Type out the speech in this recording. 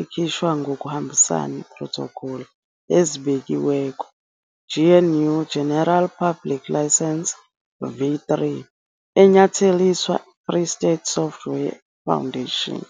ikhishwa ngokuhambisana protocol ezibekiweko GNU General Public License V3 enyatheliswa Free Software Foundation.